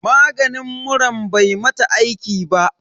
Maganin muran bai mata aiki ba.